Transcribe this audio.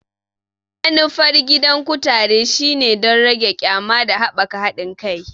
Manufar gidan kutare shine don rage ƙyama da haɓaka haɗin kai.